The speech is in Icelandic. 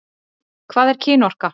Hvað er kynorka?